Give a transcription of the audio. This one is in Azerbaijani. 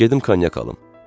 Gedim konyak alım?